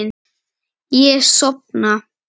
Ég sofna.